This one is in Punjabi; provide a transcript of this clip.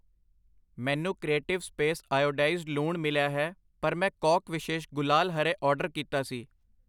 ਮੈਨੂੰ ਕਰੀਟਿਵ ਸਪੇਸ ਆਇਓਡਾਈਜ਼ਡ ਲੂਣ ਮਿਲਿਆ ਹੈ ਪਰ ਮੈਂ ਕੌਕ ਵਿਸ਼ੇਸ਼ ਗੁਲਾਲ ਹਰੇ ਆਰਡਰ ਕੀਤਾ ਸੀ ।